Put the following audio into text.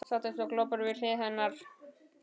Sat eins og glópur við hlið hennar.